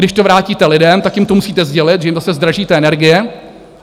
Když to vrátíte lidem, tak jim to musíte sdělit, že jim zase zdražíte energie.